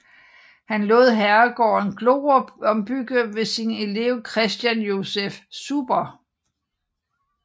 Han lod herregården Glorup ombygge ved sin elev Christian Joseph Zuber